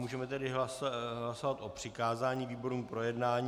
Můžeme tedy hlasovat o přikázání výborům k projednání.